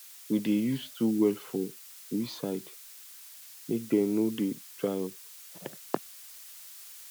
we dey use two wells for we side make dem no dey dry up